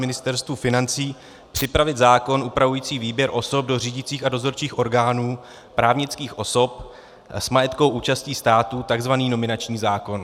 Ministerstvu financí připravit zákon upravující výběr osob do řídících a dozorčích orgánů právnických osob s majetkovou účastí státu, tzv. nominační zákon.